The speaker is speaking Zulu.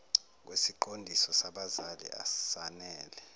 kwesiqondiso sabazali asanele